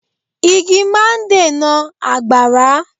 Igi máa ń dènà àgbàrá.